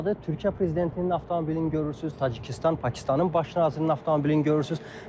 Türkiyə prezidentinin avtomobilini görürsünüz, Tacikistan, Pakistanın baş nazirinin avtomobilini görürsünüz.